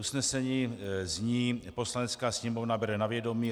Usnesení zní: Poslanecká sněmovna bere na vědomí